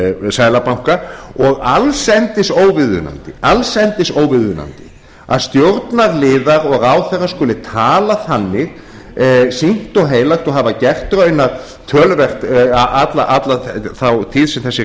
seðlabanka og allsendis óviðunandi að stjórnarliðar og ráðherrar skuli tala þannig sýknt og heilagt og hafi gert raun töluvert alla þá tíð sem þessi ríkisstjórn